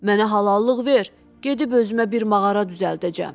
Mənə halallıq ver, gedib özümə bir mağara düzəldəcəm.